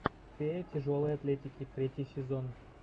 фея тяжелой атлетики третий сезон